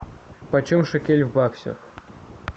почем шекель в баксах